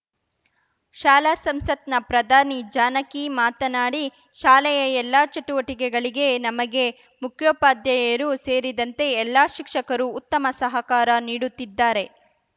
ಶಾಲಾ ಸಂಸತ್‌ನ ಪ್ರಧಾನಿ ಜಾನಕಿ ಮಾತನಾಡಿ ಶಾಲೆಯ ಎಲ್ಲಾ ಚಟುವಟಿಕೆಗಳಿಗೆ ನಮಗೆ ಮುಖ್ಯೋಪಾಧ್ಯಾಯರು ಸೇರಿದಂತೆ ಎಲ್ಲಾ ಶಿಕ್ಷಕರು ಉತ್ತಮ ಸಹಕಾರ ನೀಡುತ್ತಿದ್ದಾರೆ